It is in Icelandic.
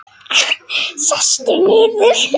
Sestu niður.